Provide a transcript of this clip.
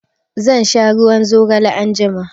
Zan sha ruwan zigale anjima.